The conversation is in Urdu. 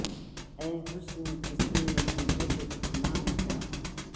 اے حسن کسی نے تجھے اتنا تو نہ چاہا